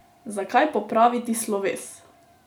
Zakaj popraviti sloves?